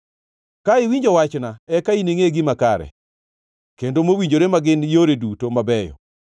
Ka iwinjo wachna, eka iningʼe gima kare, kendo mowinjore ma gin yore duto mabeyo.